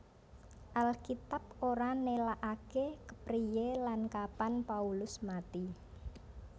Alkitab ora nélakaké kepriyé lan kapan Paulus mati